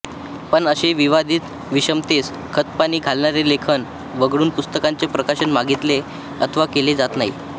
पण असे विवादीत विषमतेस खतपाणी घालणारे लेखन वगळून पुस्तकांचे प्रकाशन मागीतले अथवा केले जात नाही